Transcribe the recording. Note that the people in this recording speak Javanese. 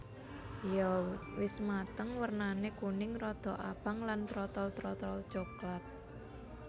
Yèn wis mateng wernané kuning rada abang lan trotol terotol coklat